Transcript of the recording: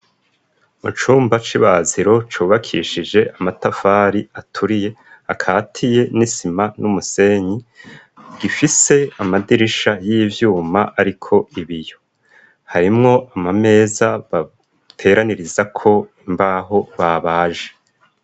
Mucumba c'ibaziro cubakishije amatafari aturiye akatiye n'isima n'umusenyi gifise amadirisha y'ivyuma ariko ibiyo harimwo amameza bateraniriza ko imbaho babaje.